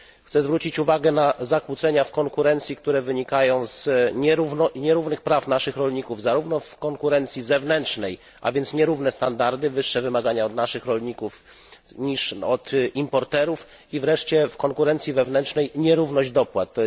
Chcę zwrócić uwagę na zakłócenia w konkurencji, które wynikają z nierównych praw naszych rolników, zarówno w konkurencji zewnętrznej a więc nierówne standardy, wyższe wymagania od naszych rolników niż od importerów, jak i wreszcie w konkurencji wewnętrznej nierówność dopłat.